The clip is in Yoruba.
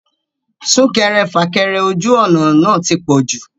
Súnkẹrẹ fàkẹrẹ ojú ọ̀nà náà ti pọ̀jù